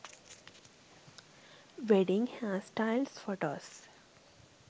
wedding hairstyles photos